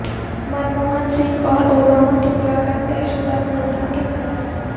منموہن سنگھ اور اوباما کی ملاقات طے شدہ پروگرام کے مطابق